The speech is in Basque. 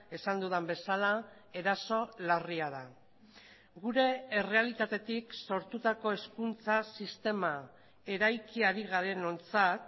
esan dudan bezala eraso larria da gure errealitatetik sortutako hezkuntza sistema eraiki ari garenontzat